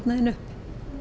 upp